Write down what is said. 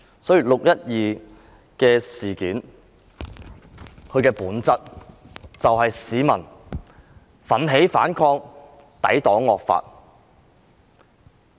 所以，"六一二"事件的本質就是市民奮起反抗，抵擋惡法。